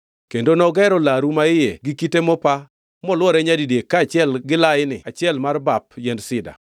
Kendo nogero laru maiye gi kite mopa molwore nyadidek kaachiel gi laini achiel mar bap yiend sida.